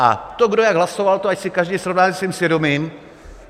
A to, kdo jak hlasoval, to ať si každý srovná se svým svědomím.